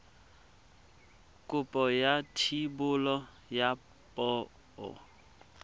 kopo ya thebolo ya poo